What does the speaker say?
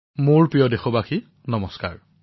মোৰ মৰমৰ দেশবাসীসকল নমস্কাৰ